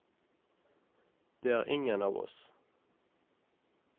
Det er ingen av oss.